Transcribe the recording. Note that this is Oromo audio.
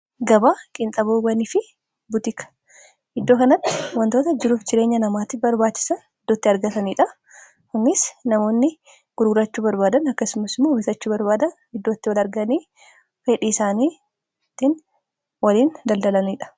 gabaa qinxaboowwanii fi butika iddoo kanatti wantoota jiruuf jireenya namaattif barbaachisan iddootti argataniidha kunis namoonni gurgurachuu barbaadan akkasumasumas bitachuu barbaadan iddootti wali arganii fedhii isaaniittiin waliin daldalaniidha